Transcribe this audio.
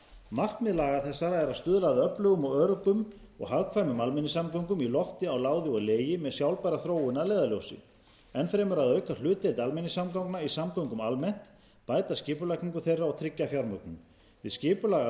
markmið laga þessara er að stuðla að öflugum öruggum og hagkvæmum almenningssamgöngum í lofti á láði og legi með sjálfbæra þróun að leiðarljósi enn fremur að auka hlutdeild almenningssamgangna í samgöngum almennt bæta skipulagningu þeirra og tryggja fjármögnun við